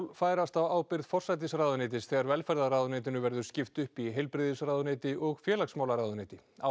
færast á ábyrgð forsætisráðuneytis þegar velferðarráðuneytinu verður skipt upp í heilbrigðisráðuneyti og félagsmálaráðuneyti á